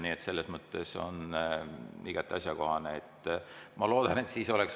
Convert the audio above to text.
Nii et selles mõttes on see igati asjakohane.